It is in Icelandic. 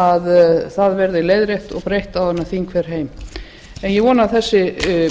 að það verði leiðrétt og breytt áður en þing fer heim en ég vona að þessi